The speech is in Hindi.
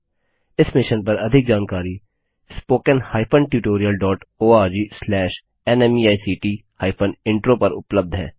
इस मिशन पर अधिक जानकारी spoken hyphen tutorial dot ORG slash नमेक्ट हाइफेन इंट्रो पर उपलब्ध है